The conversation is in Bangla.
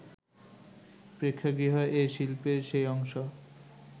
প্রেক্ষাগৃহ এ শিল্পের সেই অংশ